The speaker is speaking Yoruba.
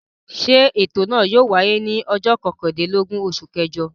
Ṣé ètò náà yóò wáyé ní ọjọ́ kọkànlélógún oṣù kẹjọ?